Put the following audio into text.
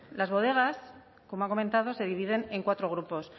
las bodegas como ha comentado se dividen en cuatro grupos